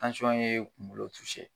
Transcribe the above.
ye kunkolo